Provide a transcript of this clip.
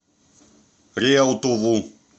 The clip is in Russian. реутову